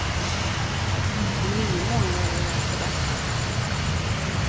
Om nio månader är det alltså dags.